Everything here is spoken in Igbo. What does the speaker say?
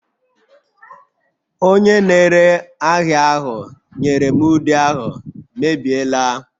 Onye na-ere ahịa ahụ nyere m ude ahụ mebiela